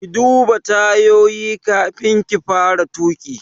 Ki duba tayoyi kafin ki fara tuƙi!